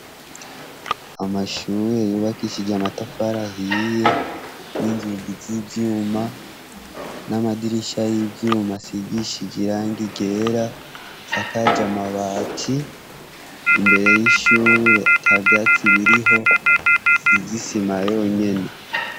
Amashure yubakishije amatafari ahiye n'inzugi z'ivyuma n'amadirisha y'ivyuma asigishije irangi ryera asakaja amabati imbere y'ishure ata vyatsi biriho isize isima yonyene.